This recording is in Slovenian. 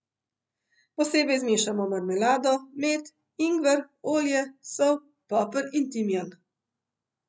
Posebej zmešamo marmelado, med, ingver, olje, sol, poper in timijan.